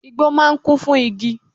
Igbó máà ń kún fún igi